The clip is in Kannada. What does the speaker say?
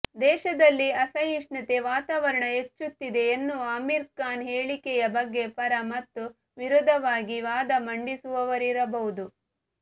ದೇಶದಲ್ಲಿ ಅಸಹಿಷ್ಣುತೆ ವಾತಾವರಣ ಹೆಚ್ಚುತ್ತಿದೆ ಎನ್ನುವ ಅಮೀರ್ ಖಾನ್ ಹೇಳಿಕೆಯ ಬಗ್ಗೆ ಪರ ಮತ್ತು ವಿರೋಧವಾಗಿ ವಾದ ಮಂಡಿಸುವವರಿರಬಹುದು